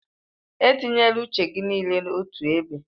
Etinyela uche gị niile otu ebe.